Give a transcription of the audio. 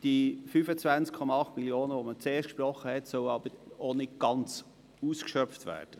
Die 25,8 Mio. Franken, welche man zuerst gesprochen hat, sollen aber nicht ganz ausgeschöpft werden.